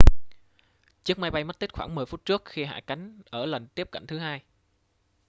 chiếc máy bay mất tích khoảng 10 phút trước khi hạ cánh ở lần tiếp cận thứ hai